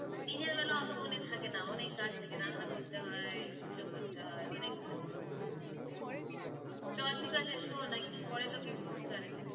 দিনের বেলা অতো মনে থাকে না, অনেক কাজ থাকে। রান্না করতে হয়, পূজো করতে হয়, অনেক কাজ থাকে। শোভা ঠিক আছে শোন, একটু পরে তোকে phone করছি